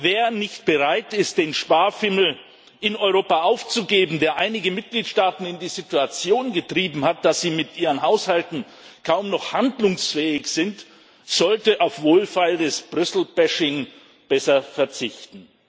Wer nicht bereit ist, den Sparfimmel in Europa aufzugeben, der einige Mitgliedstaaten in die Situation getrieben hat, dass sie mit ihren Haushalten kaum noch handlungsfähig sind, sollte auf wohlfeiles Brüssel Bashing besser verzichten.